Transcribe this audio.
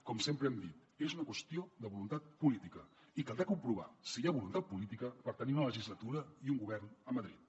com sempre hem dit és una qüestió de voluntat política i caldrà comprovar si hi ha voluntat política per tenir una legislatura i un govern a madrid